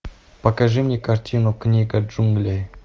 покажи мне картину книга джунглей